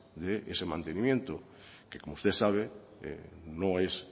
de ese mantenimiento que como usted sabe no es